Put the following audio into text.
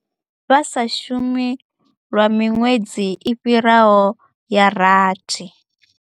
Vha sa shumi lwa miṅwedzi i fhiraho ya rathi.